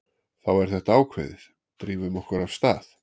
Þá er þetta ákveðið, drífum okkur af stað.